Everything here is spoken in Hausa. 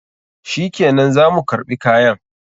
Shikenan, za mu karɓi kayan.